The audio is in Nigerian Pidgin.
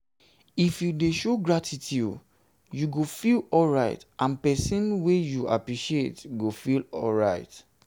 if you if you de show gratitude you go feel alright and persin wey you appreciate go feel alright